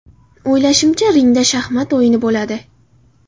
O‘ylashimcha, ringda shaxmat o‘yini bo‘ladi.